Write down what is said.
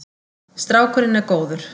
Strákurinn er góður.